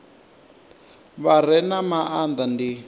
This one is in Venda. vha re na maanda ndi